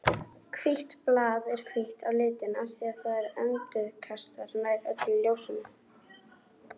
Hvítt blað er hvítt á litinn af því að það endurkastar nær öllu ljósinu.